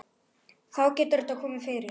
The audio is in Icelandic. Þá getur þetta komið fyrir.